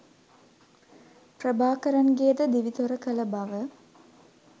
ප්‍රභාකරන්ගේද දිවි තොර කළ බව